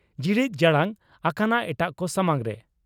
ᱡᱤᱲᱤᱡ ᱡᱟᱲᱟᱝ ᱟᱠᱟᱱᱟ ᱮᱴᱟᱜ ᱠᱚ ᱥᱟᱢᱟᱝ ᱨᱮ ᱾